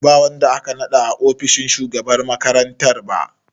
Ba wanda aka naɗa a ofishin shugaban makarantar ba.